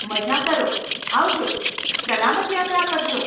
મઝા કરો, આવજો, સલામત યાત્રા કરજો.